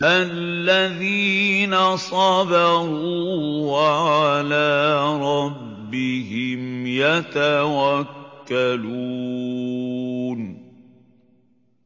الَّذِينَ صَبَرُوا وَعَلَىٰ رَبِّهِمْ يَتَوَكَّلُونَ